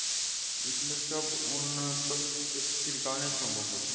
এগুলো সব উন্নত সম্ভব হতো